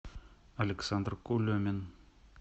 александр кулемин